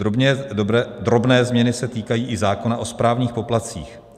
Drobné změny se týkají i zákona o správních poplatcích.